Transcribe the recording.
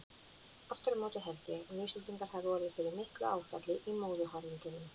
Aftur á móti held ég að Íslendingar hafi orðið fyrir miklu áfalli í móðuharðindunum.